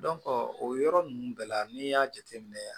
o yɔrɔ ninnu bɛɛ la n'i y'a jateminɛ